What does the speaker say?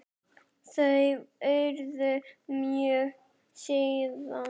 Þau urðu mörg síðan.